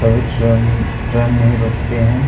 कुछ train train नहीं रुकते हैं।